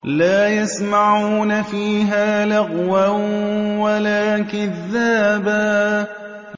لَّا يَسْمَعُونَ فِيهَا لَغْوًا وَلَا كِذَّابًا